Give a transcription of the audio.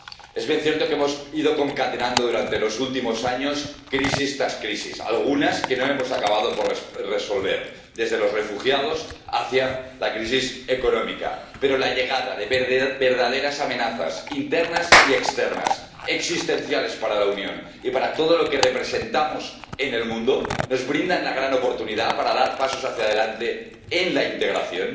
Es bien cierto que hemos ido concatenando, durante los últimos años, crisis tras crisis, algunas que no hemos acabado de resolver —desde los refugiados hasta la crisis económica—, pero la llegada de verdaderas amenazas internas y externas, existenciales para la Unión y para todo lo que representamos en el mundo, nos brinda la gran oportunidad de dar pasos hacia adelante en la integración,